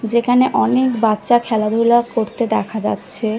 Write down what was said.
যেখানে অনেক বাচ্চা খেলাধূলা করতে দেখা যাচ্ছে ।